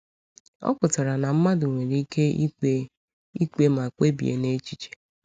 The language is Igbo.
Ọ pụtara na mmadụ nwere ike ikpe ikpe ma kpebie n’echiche.